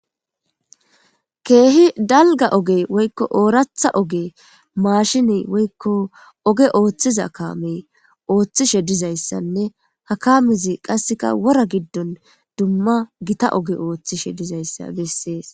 Keehi dalgga ogee woykko ooraththa ogee maashinee woykko oge ooseththiza kaamee ooseththishe dizayssanne ha kaamezi qassika wora giddon dumma githa oge ooseththishe dizayssa bessees.